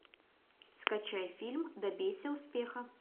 скачай фильм добейся успеха